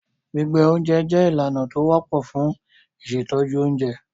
Gbígbẹ oúnjẹ jẹ́ ìlànà tó wọ́pọ̀ fun ìṣètọ́jú oúnjẹ.